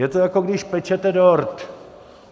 Je to, jako když pečete dort.